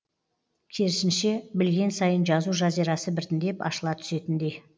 керісінше білген сайын жазу жазирасы біртіндеп ашыла түсетіндей